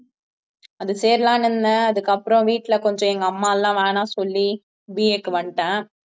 அது சேரலாம்னு இருந்தேன் அதுக்கப்புறம் வீட்டுல கொஞ்சம் எங்க அம்மா எல்லாம் வேணாம்னு சொல்லி BA க்கு வந்துட்டேன்